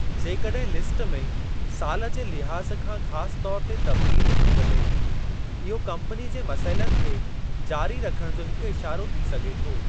जेकॾहिं लिस्ट में सालु जे लिहाज़ खां ख़ासि तौर ते तब्दीली थी वञे थी, इहो कम्पनी जे मसइलनि खे जारी रखणु जो हिकु इशारो थी सघे थो ।